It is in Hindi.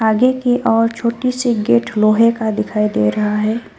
आगे के ओर छोटी से गेट लोहे का दिखाई दे रहा है।